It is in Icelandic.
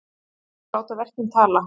Þeir láta verkin tala